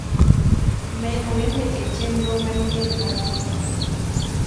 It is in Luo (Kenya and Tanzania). med wende e chenro manyien mar tugo